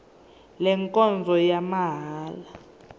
le nkonzo ngeyamahala